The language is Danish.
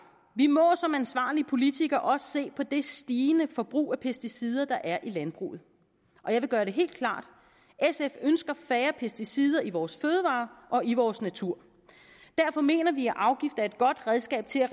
vi må som ansvarlige politikere også se på det stigende forbrug af pesticider der er i landbruget og jeg vil gøre det helt klart sf ønsker færre pesticider i vores fødevarer og i vores natur derfor mener vi at afgifter er et godt redskab til at